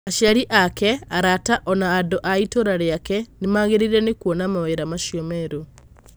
Aciari ake, arata, o na andũ a itũũra rĩake, nĩ maagegire nĩ kuona mawĩra macio merũ.